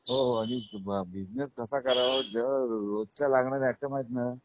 हो हो अगदी बिझनेस कसा करावा जेंव्हा रोजच लागणार राशन आहेत ना हां त्याचा बिझनेस अ हे आहे बरोबर